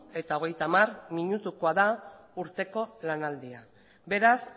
eta hogeita hamar minutukoa da urteko lanaldia beraz